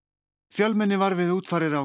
fjölmenni var við útfarir á